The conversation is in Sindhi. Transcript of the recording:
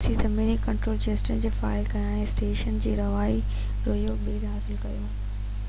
روسي زميني ڪنٽرول جيٽس کي فعال ڪيا ۽ اسٽيشن جو رواجي رويو ٻيهر حاصل ڪيو